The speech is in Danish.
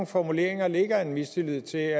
formuleringer ligger en mistillid til